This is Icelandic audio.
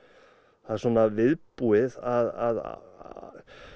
það er svona viðbúið að